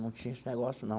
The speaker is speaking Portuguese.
Não tinha esse negócio, não.